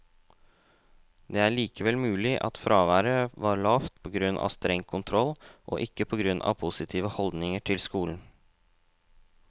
Det er likevel mulig at fraværet var lavt på grunn av streng kontroll, og ikke på grunn av positive holdninger til skolen.